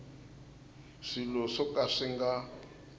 swilo swo ka swi nga